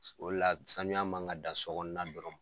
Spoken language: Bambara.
O la saniya ma ka dan sokɔnɔna dɔrɔn.